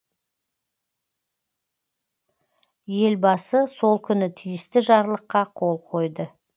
елбасы сол күні тиісті жарлыққа қол қойды